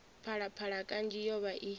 phalaphala kanzhi yo vha i